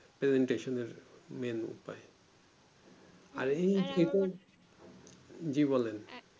presentation এর main উপায় আর এই জি বলেন